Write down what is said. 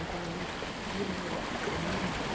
Eu falava, tia, é meia-noite.